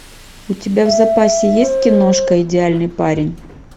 у тебя в запасе есть киношка идеальный парень